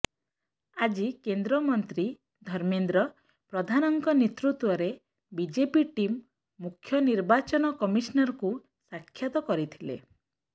ଆଜି କେନ୍ଦ୍ରମନ୍ତ୍ରୀ ଧର୍ମେନ୍ଦ୍ର ପ୍ରଧାନଙ୍କ ନେତୃତ୍ୱରେ ବିଜେପି ଟିମ୍ ମୁଖ୍ୟ ନିର୍ବାଚନ କମିଶନରଙ୍କୁ ସାକ୍ଷାତ କରିଥିଲେ